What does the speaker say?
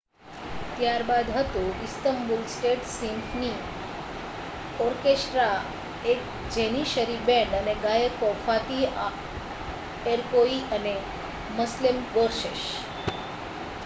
ત્યારબાદ હતું Istanbul state symphony orchestra એક જેનિસરી બેન્ડ અને ગાયકો ફાતિહ એર્કોઈ અને મસ્લેમ ગોર્સેસ